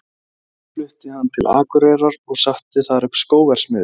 Síðar fluttist hann til Akureyrar og setti þar upp skóverksmiðju.